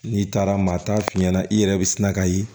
N'i taara maa t'a f'i ɲɛna i yɛrɛ bɛ sina ka ye